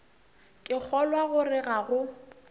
ke kgolwa gore ga go